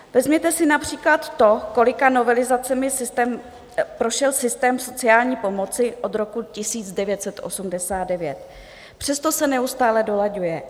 Vezměte si například to, kolika novelizacemi prošel systém sociální pomoci od roku 1989, přesto se neustále dolaďuje.